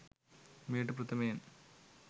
මෙයට ප්‍රථමයෙන්